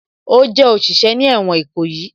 Ó jẹ́ òṣìṣẹ́ ní ẹ̀wọ̀n Ìkòyí